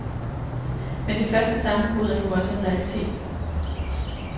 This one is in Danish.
Men det første sammenbrud er nu også en realitet.